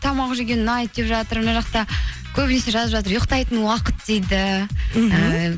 тамақ жеген ұнайды деп жатыр мына жақта көбінесе жазып жатыр ұйықтайтын уақыт дейді